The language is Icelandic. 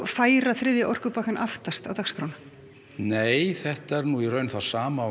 færa þriðja orkupakkann aftast á dagskrá nei þetta er það sama og